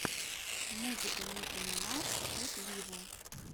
музыка ники минаж эт виво